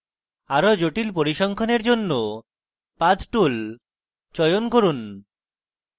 আরো জটিল পরিসংখ্যানের জন্য path tool চয়ন করুন